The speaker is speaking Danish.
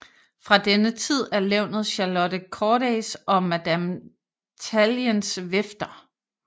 Fra denne tid er levnet Charlotte Cordays og Madame Talliens vifter